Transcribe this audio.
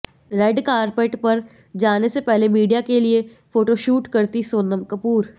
red carpet पर जाने से पहले मीडिया के लिए फोटोशूट करतीं सोनम कपूर